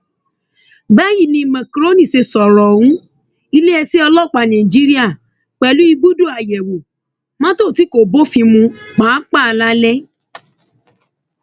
báyìí ni makrónì ṣe sọrọ ohun iléeṣẹ ọlọpàá nàìjíríà pẹlú ibùdó àyẹwò mọtò tí kò bófin mu páàpáà lálẹ